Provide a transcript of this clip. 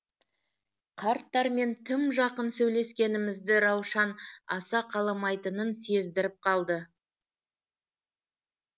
қарттармен тым жақын сөйлескенімізді раушан аса қаламайтынын сездіріп қалды